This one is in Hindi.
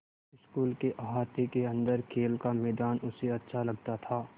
स्कूल के अहाते के अन्दर खेल का मैदान उसे अच्छा लगता था